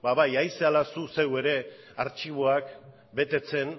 ba bai ari zarela zuk zeuk ere artxiboak betetzen